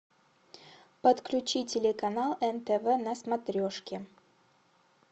подключи телеканал нтв на смотрешке